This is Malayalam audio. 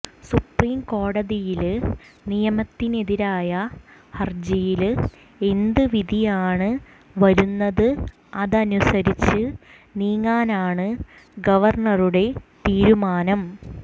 സുപ്രീംകോടതിയില് നിയമത്തിനെതിരായ ഹര്ജിയില് എന്ത് വിധിയാണ് വരുന്നത് അതനുസരിച്ച് നീങ്ങാനാണ് ഗവര്ണറുടെ തീരുമാനം